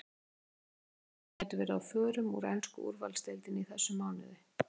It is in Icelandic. En hvaða leikmenn gætu verið á förum úr ensku úrvalsdeildinni í þessum mánuði?